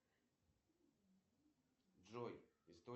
сбер какие передачи смотришь